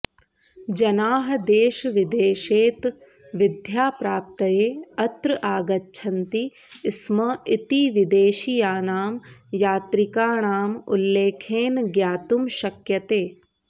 जनाः देशविदेशतः विद्याप्राप्तये अत्र आगच्छन्ति स्म इति विदेशीयानां यात्रिकाणाम् उल्लेखेन ज्ञातुं शक्यते